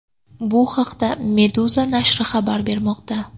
Bu haqda Meduza nashri xabar bermoqda .